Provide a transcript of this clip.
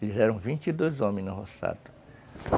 Eles eram vinte e dois homens no roçado.